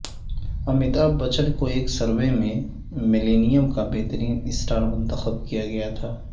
امیتابھ بچن کو ایک سروے میں ملینیم کا بہترین سٹار منتخب کیا گیا تھا